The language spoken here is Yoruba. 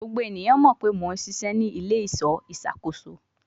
Gbogbo eniyan mọ pe Mo n ṣiṣẹ ni ile-iṣọ iṣakoso